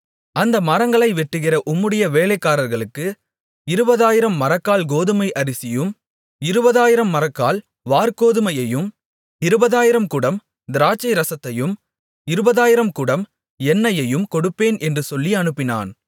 அந்த மரங்களை வெட்டுகிற உம்முடைய வேலைக்காரர்களுக்கு இருபதாயிரம் மரக்கால் கோதுமை அரிசியையும் இருபதாயிரம் மரக்கால் வாற்கோதுமையையும் இருபதாயிரம் குடம் திராட்சைரசத்தையும் இருபதாயிரம் குடம் எண்ணெயையும் கொடுப்பேன் என்று சொல்லி அனுப்பினான்